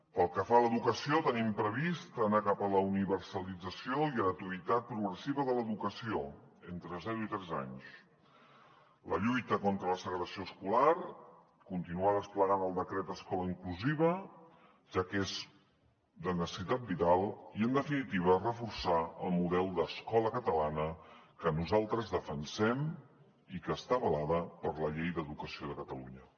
pel que fa a l’educació tenim previst anar cap a la universalització i gratuïtat progressiva de l’educació entre zero i tres anys la lluita contra la segregació escolar continuar desplegant el decret d’escola inclusiva ja que és de necessitat vital i en definitiva reforçar el model d’escola catalana que nosaltres defensem i que està avalada per la llei d’educació de catalunya